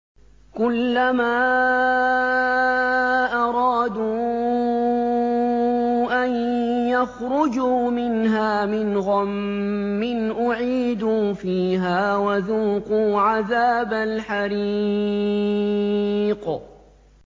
كُلَّمَا أَرَادُوا أَن يَخْرُجُوا مِنْهَا مِنْ غَمٍّ أُعِيدُوا فِيهَا وَذُوقُوا عَذَابَ الْحَرِيقِ